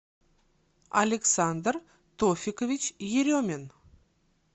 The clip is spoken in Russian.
александр тофикович еремин